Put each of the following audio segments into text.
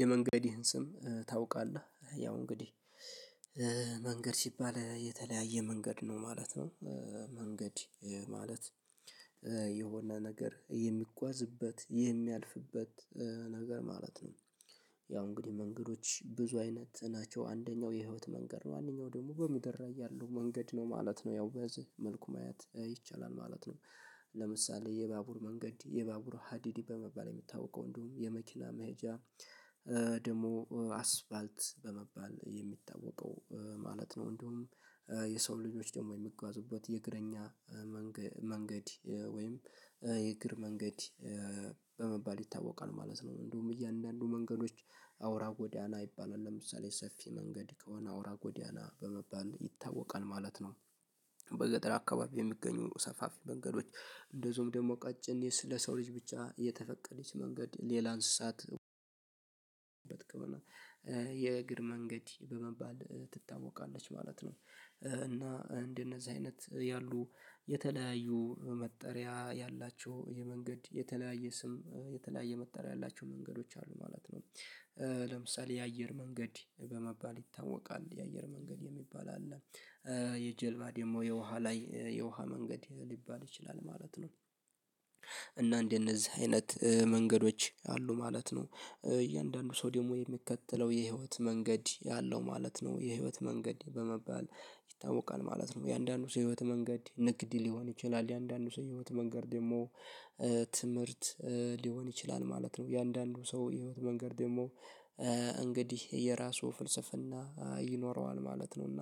የመንገድህን ስም ታውቃለህ? ያው እንግዲህ መንገድ ሲባል የተለያየ መንገድ ነው ማለት ነው። መንገድ ማለት የሆነ ነገር የሚጓዝበት የሚያልፍበት ነገር ማለት ነው። ያው እንግዲህ መንገዶች ብዙ አይነት ናቸው አንደኛው የህይወት መንገድ ነው አንደኛው ደግሞ በምድር ላይ ያለው መንገድ ነው ማለት ነው ያው በዚህ መልኩ ማየት ይቻላል ማለት ነው። ለምሳሌ የባቡር መንገድ የባቡር ሀዲድ በመባል የሚታወቀው እንዲሁም የመኪና መሄጃ ደግሞ አስፓልት በመባል የሚታወቀው ማለት ነው። እንደውም የሰው ልጆች ደግሞ የሚጓዙበት የእግረኛ መንገድ ወይም የእግር መንገድ ይታወቃል ማለት ነው። እንዲሁም እያንዳንዱ መንገዶች አውራ ጎዳና ይባላል ለምሳሌ ሰፊ መንገድ ከሆነ አውራ ጎዳና በመባል ይታወቃል ማለት ነው። በገጠር አካባቢ የሚገኙ ሰፋፊ መንገዶች እንደዚሁም ደግሞ ቀጭን ስለ ሰው ልጅ ብቻ የተፈቀደች መንገድ ሌላ እንስሳት የእግር መንገድ በመባል ትታወቃለች ማለት ነው። እና እንደነዚህ አይነት ያሉ የተለያዩ መጠሪያ ያላቸው የመንገድ የተለያየ ስም የተለያየ መጠሪያ ያላቸው መንገዶች አሉ ማለት ነው። ለምሳሌ የአየር መንገድ በመባል ይታወቃል የአየር መንገድ የሚባል አለ። የጀልባ ደግሞ የውሃ ላይ የውሃ መንገድ ሊባል ይችላል ማለት ነው። እና እንደነዚህ አይነት መንገዶች አሉ ማለት ነው። እያንዳንዱ ሰው ደግሞ የሚከተለው የህይወት መንገድ ያለው ማለት ነው የህይወት መንገድ በመባል ይታወቃል ማለት ነው። የአንዳንዱ ሰው ህይወት መንገድ ንግድ ሊሆን ይችላል የአንዳንዱ ሰው ህይወት መንገድ ደግሞ ትምህርት ሊሆን ይችላል ማለት ነው። የአንዳንዱ ሰው ህይወት መንገድ ደግሞ እንግዲህ የራሱ ፍልስፍና ይኖረዋል ማለት ነው። እና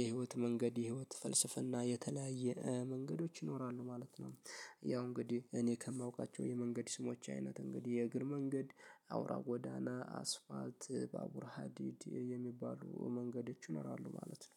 የህይወት መንገድ የህይወት ፍልስፍና የተለያየ መንገዶች ይኖራሉ ማለት ነው። ያው እንግዲህ እኔ ከማውቃቸው የመንገድ ስሞች አይነት እንግዲህ የእግር መንገድ አውራ ጎዳና አስፓልት ባቡር ሀዲድ የሚባሉ መንገዶች ይኖራሉ ማለት ነው።